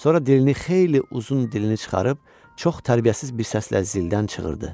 Sonra dilini xeyli uzun dilini çıxarıb çox tərbiyəsiz bir səslə zildən çığırdı.